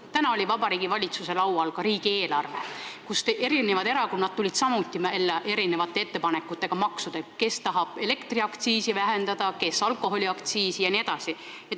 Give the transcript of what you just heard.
Täna oli Vabariigi Valitsuse laual riigieelarve, kus erakonnad tulid samuti välja erinevate maksuettepanekutega: kes tahab vähendada elektriaktsiisi, kes alkoholiaktsiisi jne.